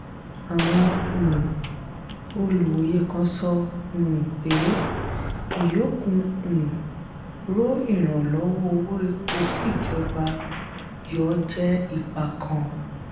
àwọn um olùwòye kan sọ um pé ìyókù um ro ìrànlọ́wọ́ owó epo ti ijoba yọ jẹ́ ipa kàn.